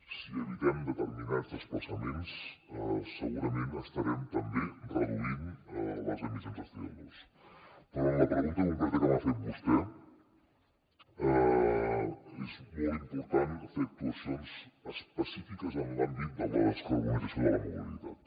si evitem determinats desplaçaments segurament estarem també reduint les emissions de coperò en la pregunta concreta que m’ha fet vostè és molt important fer actuacions específiques en l’àmbit de la descarbonització de la mobilitat